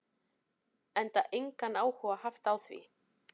Enda engan áhuga haft á því.